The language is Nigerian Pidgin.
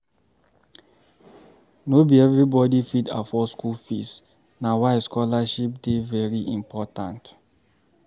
No be everybody fit afford school fees, na why scholarship dey very important